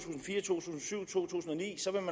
tusind